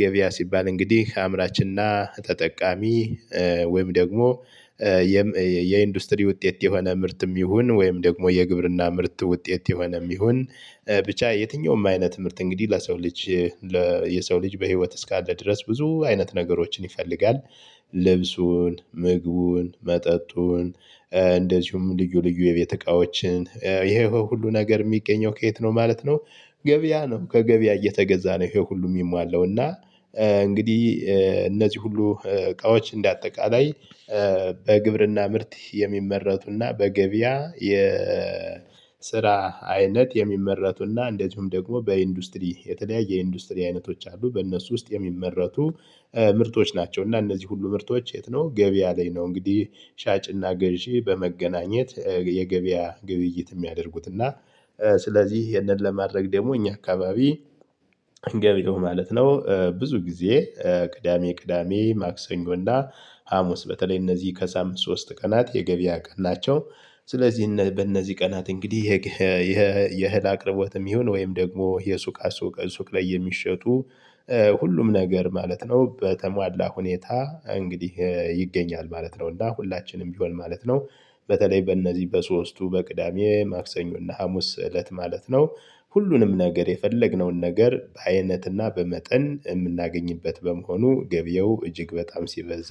ገበያ ሲባል እንግዲህ አምራችንና ተጠቃሚ። ወይም ደግሞ የኢንዱስትሪ ውጤት የሆነ ምርትም ይሁን ወይም ደግሞ የግብርና ምርት ውጤት የሆነም ይሁን ብቻ የትኛውም አይነት ትምህርት እንግዲህ ለሰው ልጅ። የሰው ልጅ በህይወት እስካለ ድረስ ብዙ አይነት ነገሮችን ይፈልጋል። ልብሱን ምግቡን መጠጡን እንደዚሁም ልዩ ልዩ የቤት እቃዎችን ይሄ ሁሉ ነገር የሚገኘው ከየት ነው ማለት ነው። ገበያ ነው ከገበያ እየተገዛ ነው። ይሄ ሁሉ የሚሟላው እና። እንግዲህ እነዚህ ሁሉ እቃዎች እንደ አጠቃላይ በግብርና ምርት የሚመረቱና በገበያ የስራ አይነት የሚመረቱና እንደዚሁም ደግሞ በኢንዱስትሪ የተለያየ ኢንዱስትሪ አይነቶች አሉ በእነሱ ውስጥ የሚመረቱ ምርቶች ናቸው። እና እነዚህ ሁሉ ምርቶች የት ነው ገቢ ያለኝ ነው እንግዲህ። ሻጭና ገዢ በመገናኘት የገበያ ግብይት የሚያደርጉት እና ስለዚህ ይሄንን ለማድረግ ደግሞ እኛ አካባቢ። ገበያው ማለት ነው ብዙ ጊዜ ቅዳሜ ቅዳሜ ማክሰኞ እና ሀሙስ በተለይ እነዚህ ከሳምንት ሶስት ቀናት የገበያ ቀን ናቸው። ስለዚህ በእነዚህ ቀናት እንግዲህ የእህል አቅርቦትም ይሁን ወይም ደግሞ የሱቃ ሱቅ ሱቅ ላይ የሚሸጡ ሁሉም ነገር ማለት ነው በተሟላ ሁኔታ እንግዲህ ይገኛል ማለት ነው። እና ሁላችንም ቢሆን ማለት ነው። በተለይ በእነዚህ በሶስቱ በቅዳሜ ማክሰኞ እና ሀሙስ እለት ማለት ነው። ሁሉንም ነገር የፈለግነውን ነገር በአይነትና በመጠን የምናገኝበት በመሆኑ ገበያው እጅግ በጣም ሲበዛ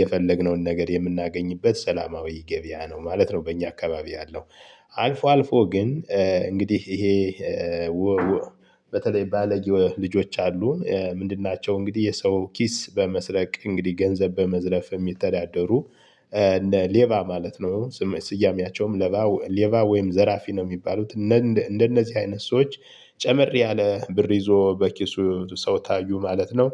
የፈለግነውን ነገር የምናገኝበት ሰላማዊ ገበያ ነው ማለት ነው በእኛ አካባቢ ያለው። አልፎ አልፎ ግን እንግዲህ ይሄ። በተለይ ባለጌ ልጆች አሉ ምንድን ናቸው? እንግዲህ የሰው ኪስ በመስረቅ እንግዲህ ገንዘብ በመዝረፍ የሚተዳደሩ እንደ ሌብባ ማለት ነው። ስያሜያቸውም ሌባ ወይም ዘራፊ ነው የሚባሉት። እንደነዚህ አይነት ሰዎች። ጨመር ያለ ብር ይዞ በኪሱ ሰው ታዩ ማለት ነው።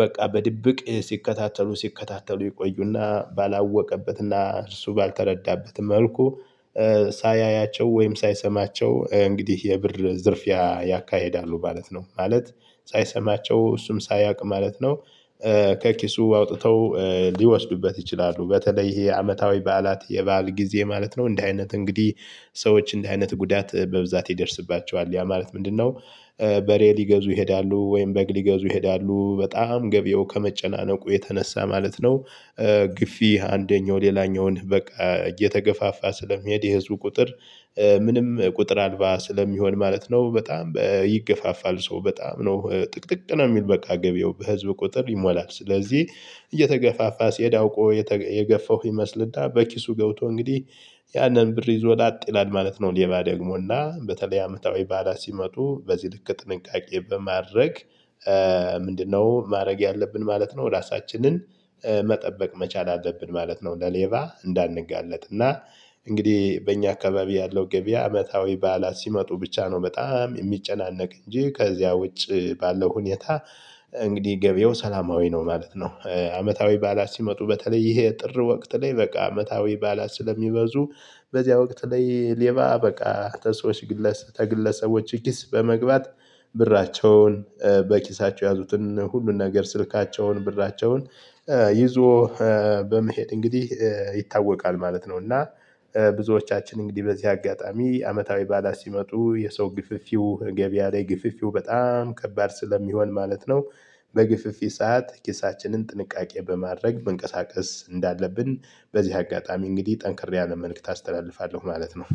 በቃ በድብቅ ሲከታተሉ ሲከታተሉ ይቆዩና ባላወቀበትና እርሱ ባልተረዳበት መልኩ ሳያያቸው ወይም ሳይሰማቸው እንግዲህ የብር ዝርፊያ ያካሂዳሉ ማለት ነው። ማለት ሳይሰማቸው እሱም ሳያውቅ ማለት ነው። ከኪሱ አውጥተው ሊወስዱበት ይችላሉ። በተለይ ይሄ አመታዊ በዓላት የበአል ጊዜ ማለት ነው እንደ አይነት እንግዲህ ሰዎች እንዲህ አይነት ጉዳት በብዛት ይደርስባቸዋል ያ ማለት ምንድነው? በሬ ሊገዙ ይሄዳሉ ወይም በግ ሊገዙ ይሄዳሉ በጣም ገበያው ከመጨናነቁ የተነሳ ማለት ነው። ግፊ አንደኛው ሌላኛውን በቃ እየተገፋፋ ስለሚሄድ የህዝቡ ቁጥር። ምንም ቁጥር አልባ ስለሚሆን ማለት ነው። በጣም ይገፋፋል ሰው በጣም ነው ጥቅጥቅ ነው የሚል በቃ ገበያው በህዝብ ቁጥር ይሞላል ስለዚህ። እየተገፋፋ ሲያውቆ የገፈው ይመስልና በኪሱ ገብቶ እንግዲህ ያንን ብር ይዞ ወዳጥ ይላል ማለት ነው። ሌባ ደግሞና በተለይ አመታዊ በዓላት ሲመጡ በዚህ ልክ ጥንቃቄ በማድረግ። ምንድነው ማድረግ ያለብን ማለት ነው? ራሳችንን መጠበቅ መቻል አለብን ማለት ነው። ለሌባ እንዳንጋለጥ እና እንግዲህ በእኛ አካባቢ ያለው ገበያ አመታዊ በዓላት ሲመጡ ብቻ ነው። በጣም የሚጨናነቅ እንጂ ከዚያ ውጪ ባለው ሁኔታ። እንግዲህ ገበያው ሰላማዊ ነው ማለት ነው። አመታዊ በዓላት ሲመጡ በተለይ ይሄ ጥር ወቅት ላይ በቃ አመታዊ ባላት ስለሚበዙ። በዚያ ወቅት ላይ ሌባ በቃ ከሰዎች። ከግለሰቦች ኪስ በመግባት ብራቸውን በኪሳቸው የያዙትን ሁሉን ነገር ስልካቸውን ብራቸውን። ይዞ በመሄድ እንግዲህ ይታወቃል ማለት ነው። እና ብዙዎቻችን እንግዲህ በዚህ አጋጣሚ አመታዊ በዓላት ሲመጡ የሰው ግፍፊው ገበያ ላይ ግፍፊው በጣም ከባድ ስለሚሆን ማለት ነው። በግፊይ ሰዓት ኪሳችንን ጥንቃቄ በማድረግ መንቀሳቀስ እንዳለብን። በዚህ አጋጣሚ እንግዲህ ጠንክር ያለ መልእክት አስተላልፋለሁ ማለት ነው